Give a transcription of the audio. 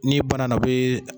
Ni banna na o bɛ.